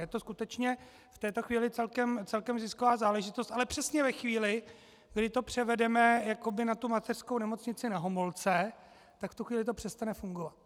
Je to skutečně v této chvíli celkem zisková záležitost, ale přesně ve chvíli, kdy to převedeme jakoby na tu mateřskou Nemocnici Na Homolce, tak v tu chvíli to přestane fungovat.